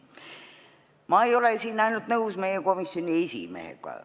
Ma ei ole siin ainult nõus meie komisjoni esimehega.